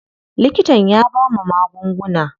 Likitan ya bamu magunguna.